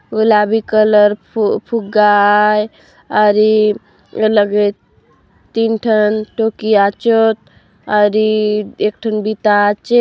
गुलाबी कलर फु फुग्गा आय आउरी ये लगे तीन ठन टोकी आचोत आउरी एक ठन बिता आचे।